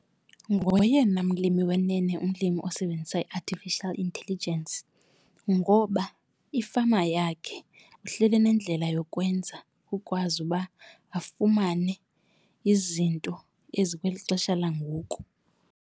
Ngoyena mlimi wenene umlimi osebenzisa i-artificial intelligence ngoba ifama yakhe uhlele enendlela yokwenza ukwazi uba afumane izinto ezikweli xesha langoku.